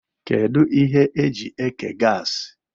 Kedu ihe eji eke gasi?